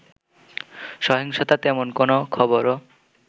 সহিংসতার তেমন কোনো খবরও